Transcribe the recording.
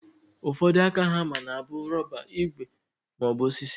Ụfọdụ aka hama na abụ rọba, igwe maọbụ osisi.